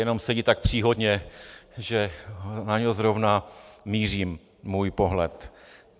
Jenom sedí tak příhodně, že na něj zrovna míří můj pohled.